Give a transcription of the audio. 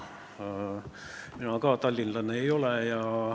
Mina ei ole ka tallinlane.